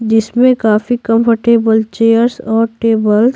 जिसमें काफी comfortable chairs और टेबल ।